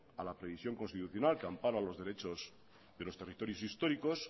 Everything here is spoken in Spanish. a la previsión constitucional que ampara los derechos de los territorios históricos